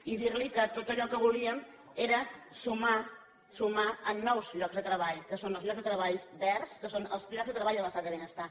i dir li que tot allò que volíem era sumar sumar en nous llocs de treball que són nous llocs de treball verds que són els llocs de treball de l’estat del benestar